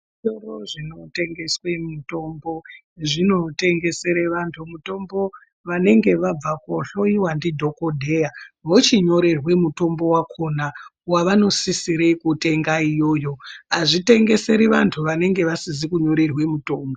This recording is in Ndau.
Zvitoro zvinotengeswe mitombo , zvinotengesere vantu mitombo vanenge vabva kohloyiwa ndidhokodheya vochinyorerwe mitombo wakona wavanosisire kutenga iyoyo, azvitengeseri vantu vanenge vasizi kunyorerwe mitombo.